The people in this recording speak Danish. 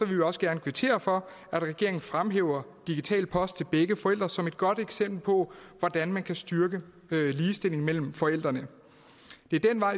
vi også gerne kvittere for at regeringen fremhæver digital post til begge forældre som et godt eksempel på hvordan man kan styrke ligestillingen mellem forældrene det er den vej